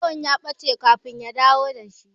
Ƴar yawan ya ɓaci kafin ya dawo dashi